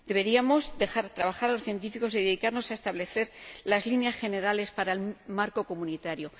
Deberíamos dejar trabajar a los científicos y dedicarnos a establecer las líneas generales para el marco comunitario.